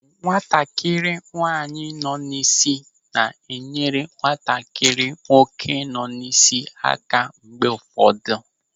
Nwatakịrị nwaanyị nọ n'isi na-enyere nwatakịrị nwoke nọ n'isi aka mgbe ụfọdụ.